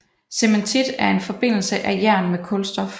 Cementit er en forbindelse af jern med kulstof